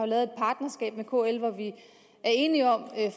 lavet et partnerskab med kl hvor vi er enige om at